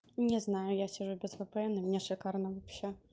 не знаю я сижу без впн у мне шикарно вообще